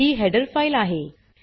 ही header file आहे